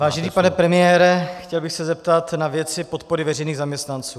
Vážený pane premiére, chtěl bych se zeptat na věci podpory veřejných zaměstnanců.